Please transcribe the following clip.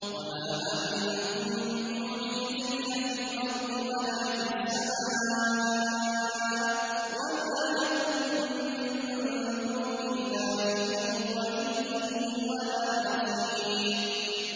وَمَا أَنتُم بِمُعْجِزِينَ فِي الْأَرْضِ وَلَا فِي السَّمَاءِ ۖ وَمَا لَكُم مِّن دُونِ اللَّهِ مِن وَلِيٍّ وَلَا نَصِيرٍ